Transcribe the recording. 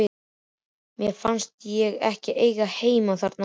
Mér fannst ég ekki eiga heima þar lengur.